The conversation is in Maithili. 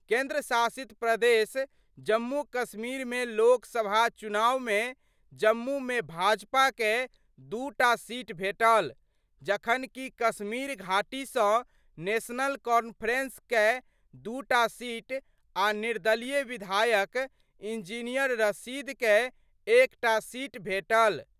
केंद्र शासित प्रदेश जम्मू कश्मीर मे लोकसभा चुनाव मे जम्मू मे भाजपा कए दूटा सीट भेटल, जखन कि कश्मीर घाटी स नेशनल कॉन्फ्रेंस कए टूटा सीट आ निर्दलीय विधायक इंजीनियर रशीद कए एकटा सीट भेटल।